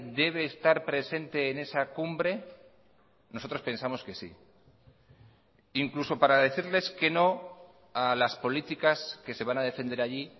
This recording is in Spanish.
debe estar presente en esa cumbre nosotros pensamos que sí incluso para decirles que no a las políticas que se van a defender allí